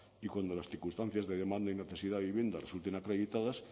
y cuando las circunstancias de demanda y necesidad de vivienda resulten acreditadas